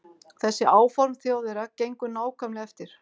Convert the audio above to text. Þessi áform Þjóðverja gengu nákvæmlega eftir.